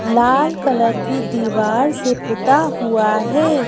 लाल colour की दीवार से पुता हुआ है।